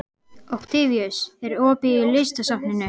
Októvíus, er opið í Listasafninu?